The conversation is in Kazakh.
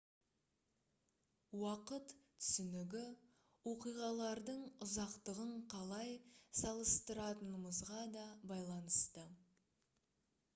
уақыт түсінігі оқиғалардың ұзақтығын қалай салыстыратынымызға да байланысты